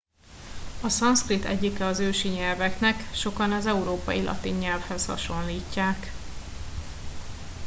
a szanszkrit egyike az ősi nyelveknek sokan az európai latin nyelvhez hasonlítják